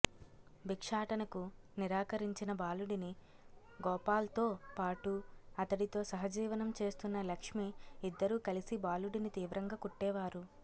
భిక్షాటనకు నిరాకరించిన బాలుడిని గోపాల్తో పాటు అతడితో సహజీవనం చేస్తున్న లక్ష్మి ఇద్దరూ కలిసి బాలుడిని తీవ్రంగా కొట్టేవారు